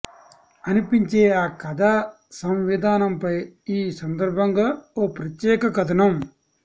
అనిపించే ఆ కథా సంవిధానంపై ఈ సందర్భంగా ఓ ప్రత్యేక కథనం